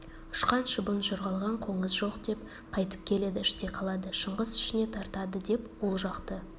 ұшқан шыбын жорғалаған қоңыз жоқ деп қайтып келеді іште қалады шыңғыс ішіне тартады деп ол жақты